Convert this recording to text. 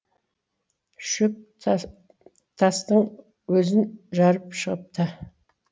шөп тастың өзін жарып шығыпты